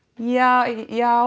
ja já